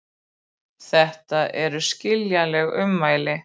Þetta eru skiljanleg ummæli